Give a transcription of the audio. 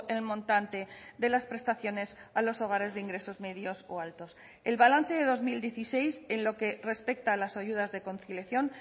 el montante de las prestaciones a los hogares de ingresos medios o altos el balance de dos mil dieciséis en lo que respecta a las ayudas de conciliación